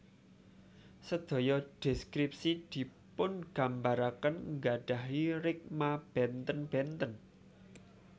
Sedaya deskripsi dipungambaraken nggadahi rikma benten benten